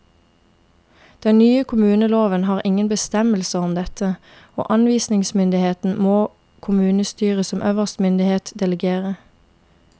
Den nye kommuneloven har ingen bestemmelser om dette, og anvisningsmyndigheten må kommunestyret som øverste myndighet delegere.